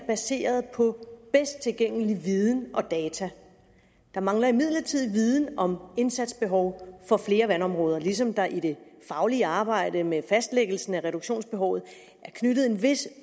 baseret på bedst tilgængelig viden og data der mangler imidlertid viden om indsatsbehov for flere vandområder ligesom der i det faglige arbejde med fastlæggelsen af reduktionsbehovet er knyttet en vis